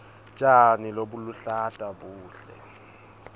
tjani lobuluhlata buhle